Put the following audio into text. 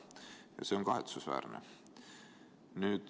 Ja see on kahetsusväärne.